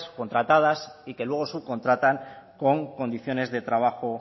contratadas y que luego subcontratan con condiciones de trabajo